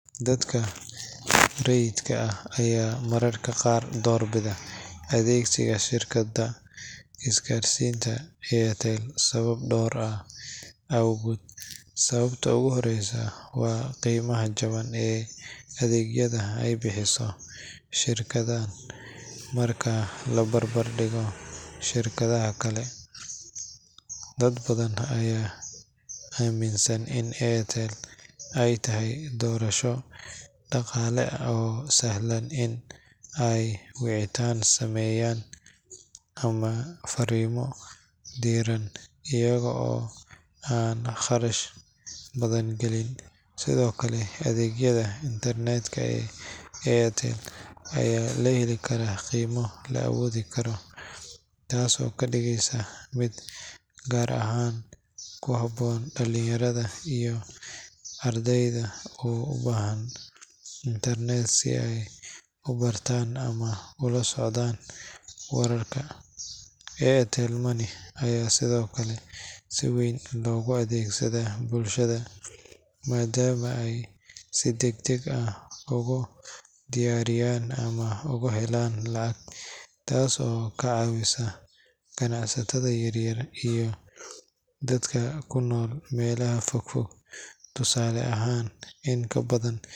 Dadka raidka ah aya mararka qaar door bida adeegsiga shirkada isgaarsinta ee Airtel sababo dhoor ah awgod, sababta ogu horeysa waa qeymaha jaban ee adeegyada ay bixiso shirkada marki la barbar dhigo shirkadaha kale ,dad badan aya aaminsan ini airtel ay tahay doorasho dhaqaale oo sahlan in ay wicitan sameeyan ama faarimo diiran ayaga oo an qarash badan galeynin, sidokale adeegyada intarnetka ee airtel aya laheli karaa qeymo la aboodi karo taaso kadhigeysa gaar ahan mid kuhaboon dhalin yarada iyo ardeyda ubahan intarnet si ay ubartan ama ula socdan wararka, airtel money aya sidokale si weyn logu adeegsada bulshada maadama ay si degdeg ah ogu diyaariyan ama ugu helan lacag taaso ka caawisa ganacsatada yar yar iyo dadka kunol Melaha fogfog tusaale ahan in kabadan intii hore